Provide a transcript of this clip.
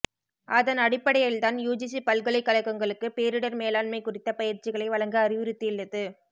அதன் அடிப்படையில்தான் யுஜிசி பல்கலைக்கழகங்களுக்கு பேரிடர் மேலாண்மை குறித்த பயிற்சிகளை வழங்க அறிவுறுத்தியுள்ளது